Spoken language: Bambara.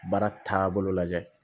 Baara taabolo lajɛ